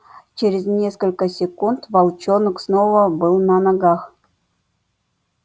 через несколько секунд волчонок снова был на ногах